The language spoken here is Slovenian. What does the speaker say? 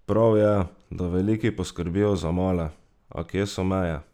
Prav je, da veliki poskrbijo za male, a kje so meje?